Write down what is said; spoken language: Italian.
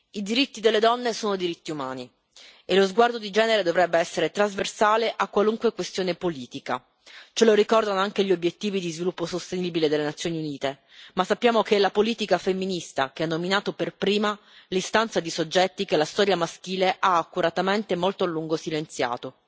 I diritti delle donne sono diritti umani e lo sguardo di genere dovrebbe essere trasversale a qualunque questione politica, ce lo ricordano anche gli obiettivi di sviluppo sostenibile delle Nazioni Unite, ma sappiamo che è la politica femminista che ha nominato per prima l'istanza di soggetti che la storia maschile ha accuratamente molto a lungo silenziato.